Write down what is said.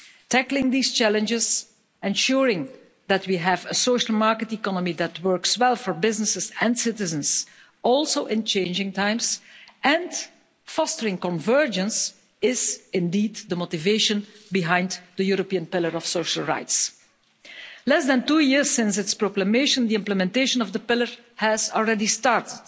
Tackling these challenges, ensuring that we have a social market economy that works well for businesses and citizens, also in changing times, and fostering convergence is indeed the motivation behind the European Pillar of Social Rights. Less than two years since its proclamation, the implementation of the Pillar has already started.